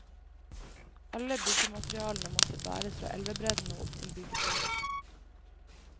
Alle byggematerialene måtte bæres fra elvebredden og opp til byggeplassen.